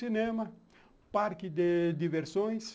Cinema, parque de diversões.